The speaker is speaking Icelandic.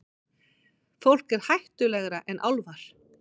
Fólk er hættulegra en álfar.